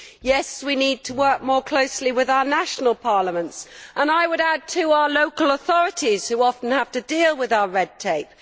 Yes, we need to work more closely with our national parliaments and, I would add, our local authorities, who often have to deal with our red tape.